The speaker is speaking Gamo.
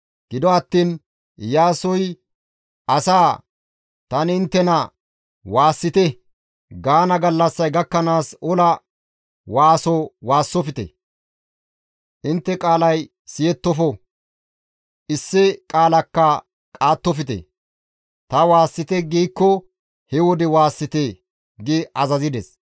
Gido attiin Iyaasoy asaa, «Tani inttena, ‹Waassite!› gaana gallassay gakkanaas ola waaso waassofte; intte qaalay siyettofo; issi qaalakka qaattofte; ta waassite giikko he wode waassite!» gi azazides.